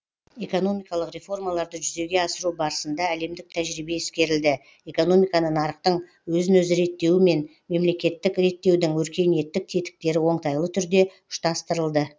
экономикалық реформаларды жүзеге асыру барысында әлемдік тәжірибе ескерілді экономиканы нарықтың өзін өзі реттеуі мен мемлекеттік реттеудің өркениеттік тетіктері оңтайлы түрде ұштастырылды